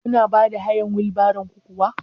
Kuna bada hayar wil baron ku kuwa?